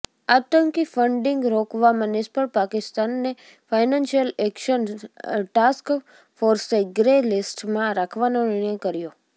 આતંકી ફંડિંગ રોકવામાં નિષ્ફળ પાકિસ્તાનને ફાઈનાન્સિયલ એક્શન ટાસ્ક ફોર્સે ગ્રે લિસ્ટમાં રાખવાનો નિર્ણય કર્યો